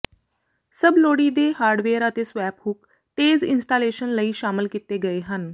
ਸਭ ਲੋੜੀਦੇ ਹਾਰਡਵੇਅਰ ਅਤੇ ਸਵੈਪ ਹੁੱਕ ਤੇਜ਼ ਇੰਸਟਾਲੇਸ਼ਨ ਲਈ ਸ਼ਾਮਲ ਕੀਤੇ ਗਏ ਹਨ